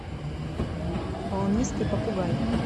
волнистый попугай